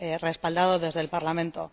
respaldado desde el Parlamento.